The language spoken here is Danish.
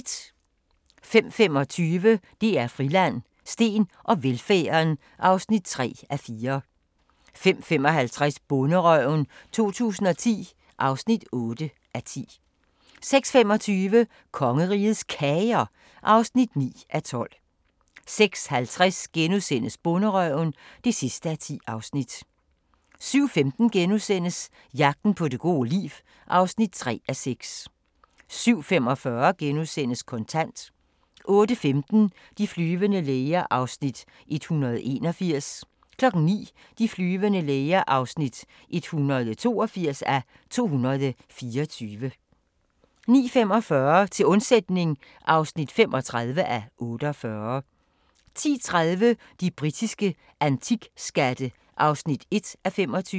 05:25: DR Friland: Steen og velfærden (3:4) 05:55: Bonderøven 2010 (8:10) 06:25: Kongerigets Kager (9:12) 06:50: Bonderøven (10:10)* 07:15: Jagten på det gode liv (3:6)* 07:45: Kontant * 08:15: De flyvende læger (181:224) 09:00: De flyvende læger (182:224) 09:45: Til undsætning (35:48) 10:30: De britiske antikskatte (1:25)